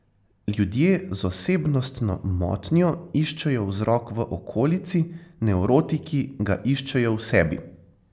Ljudje z osebnostno motnjo iščejo vzrok v okolici, nevrotiki ga iščejo v sebi.